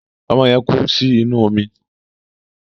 Ọmọ yẹn kú sí inú omi.